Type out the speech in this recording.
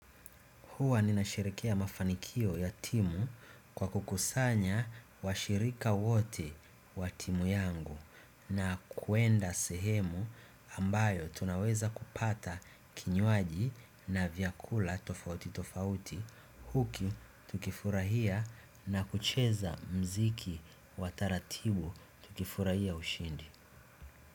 Huwa ninasherehekea mafanikio ya timu kwa kukusanya washirika wote wa timu yangu na kuenda sehemu ambayo tunaweza kupata kinywaji na vyakula tofauti tofauti huku tukifurahia na kucheza muziki wa taratibu tukifurahia ushindi.